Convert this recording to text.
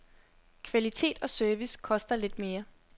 Kvalitet og service koster lidt mere.